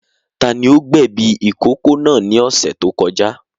Tani ó gbẹ̀ bí ìkókó náà ní ọ̀sẹ̀ tó kọjá?